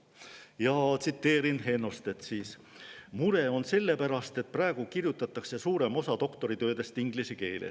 Ja tsiteerin Hennostet siis: "Mure on sellepärast, et praegu kirjutatakse suurem osa doktoritöödest inglise keeles.